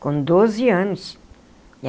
Com doze anos.